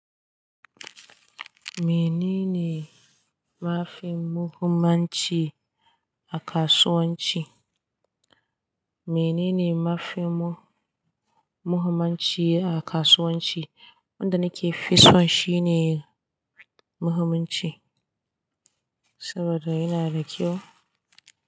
Menene mafi muhimmanci a kasuwanci? Menene mafi mu-muhimanci a kasuwanci? Wanda nake fisan shine muhimmanci saboda yana da kyau.